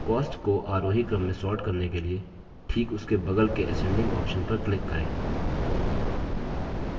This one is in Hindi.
cost को आरोही क्रम में sort करने के लिए ठीक उसके बगल के ascending option पर click करें